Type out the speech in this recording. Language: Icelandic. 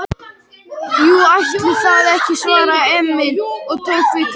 Jú, ætli það ekki, svaraði Emil og tók við könnunni.